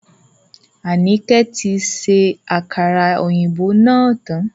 Anike tí ṣe àkàrà òyìnbó náà tán